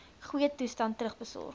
goeie toestand terugbesorg